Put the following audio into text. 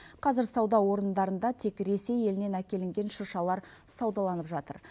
қазір сауда орындарында тек ресей елінен әкелінген шыршалар саудаланып жатыр